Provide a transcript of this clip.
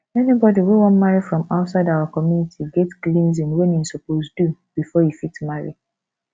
anybody wey wan marry from outside our community get cleansing wey im suppose do before e fit marry